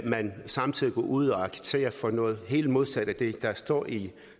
man samtidig går ud og agiterer for noget helt modsat af det der står i